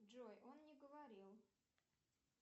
джой он не говорил